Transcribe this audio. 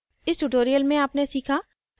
इस tutorial में आपने सीखा